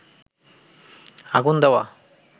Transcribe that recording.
আগুন দেওয়া